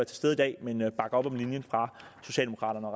til stede i dag men bakker op om linjen fra socialdemokraterne